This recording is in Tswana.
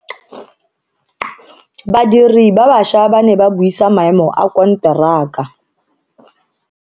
Badiri ba baša ba ne ba buisa maemo a konteraka.